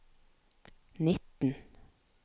nitten